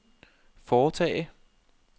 foretage